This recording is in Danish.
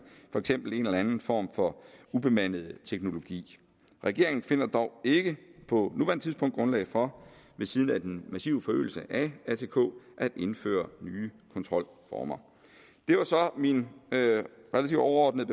for eksempel en eller anden form for ubemandet teknologi regeringen finder dog ikke på nuværende tidspunkt grundlag for ved siden af den massive forøgelse af atk at indføre nye kontrolformer det var så mine relativt overordnede